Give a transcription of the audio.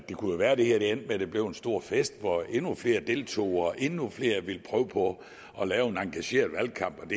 jo kunne være det her endte med at det blev en stor fest hvor endnu flere deltog og endnu flere ville prøve på at lave en engageret valgkamp og